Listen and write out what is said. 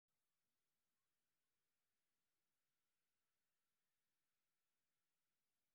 Waxbarasho tayo leh ayaa hoos u dhigaysa heerka shaqo la'aanta .